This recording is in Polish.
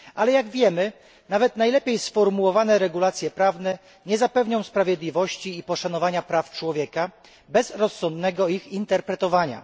Jak wiemy, nawet najlepiej sformułowane regulacje prawne nie zapewnią sprawiedliwości i poszanowania praw człowieka bez rozsądnego ich interpretowania.